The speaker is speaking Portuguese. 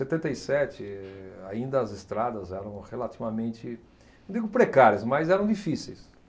setenta e sete, ainda as estradas eram relativamente, não digo precárias, mas eram difíceis.